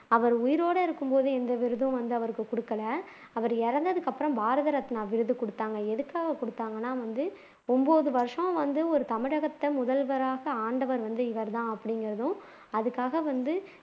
அவர் உயிரோட இருக்கும்போது எந்த விருதும் அவருக்கு கொடுக்கல அவர் இறந்ததுக்கு அப்புறம் பாரத ரத்னா விருது குடுத்தாங்க எதுக்காக குடுத்தாங்கன்னா வந்து ஒன்பது வருஷம் வந்து ஒரு தமிழகத்தை முதல்வராக ஆண்டவர் வந்து இவர்தான் அப்படின்கிறதும் அதுக்காக வந்து